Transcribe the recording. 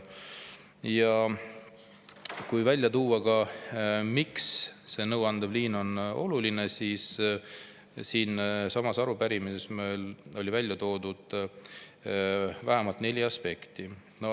Ja kui välja tuua, miks see nõuandev liin on oluline, siis siinsamas arupärimises on meil välja toodud vähemalt neli aspekti.